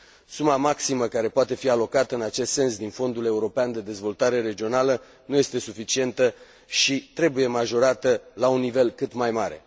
Suma maximă care poate fi alocată în acest sens din Fondul european de dezvoltare regională nu este suficientă și trebuie majorată la un nivel cât mai mare.